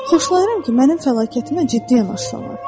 Xoşlayıram ki, mənim fəlakətimə ciddi yanaşsınlar.